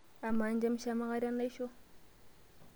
Amaa, injamishama aikata enaisho?